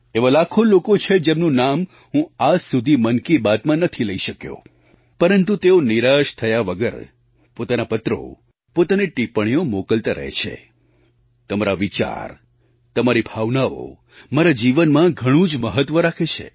એવા લાખો લોકો છે જેમનું નામ હું આજ સુધી મન કી બાતમાં નથી લઈ શક્યો પરંતુ તેઓ નિરાશ થયા વગર પોતાના પત્રો પોતાની ટિપ્પણીઓ મોકલતા રહે છે તમારા વિચાર તમારી ભાવનાઓ મારા જીવનમાં ઘણું જ મહત્ત્વ રાખે છે